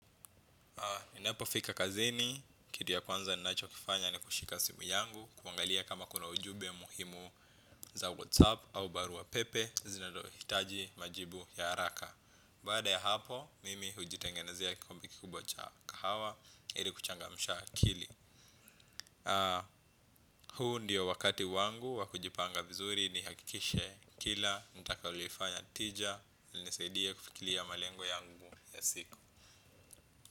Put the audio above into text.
Ninapofiika kazini, kitu ya kwanza ninachokifanya ni kushika simu yangu. Kuangalia kama kuna ujumbe muhimu za 'whatsapp' au baru wa pepe zinazohitaji majibu ya haraka. Baada ya hapo, mimi hujitengenezea kikombe kikubwa cha kahawa. Ili kuchangamsha akili. Huu ndio wakati wangu, wa kujipanga vizuri nihakikishe kila nitakalolifanya tija, linisaidie kufikiria malengo yangu ya siku.